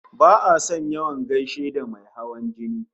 Ba'a son yawan gaishe da mai hawan jini